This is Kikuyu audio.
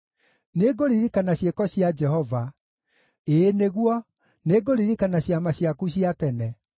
Nĩngũririkana ciĩko cia Jehova; ĩĩ nĩguo, nĩngũririkana ciama ciaku cia tene.